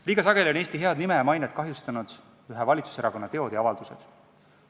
Liiga sageli on Eesti head nime ja mainet kahjustanud ühe valitsuserakonna teod ja avaldused.